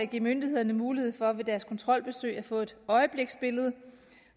give myndighederne mulighed for ved deres kontrolbesøg at få et øjebliksbillede